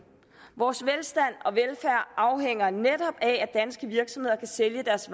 vores velstand og velfærd afhænger netop af at danske virksomheder kan sælge deres